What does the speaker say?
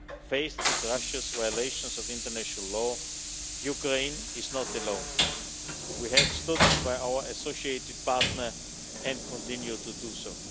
Faced with Russia's violations of international law, Ukraine is not alone. We have stood by our associated partner and continue to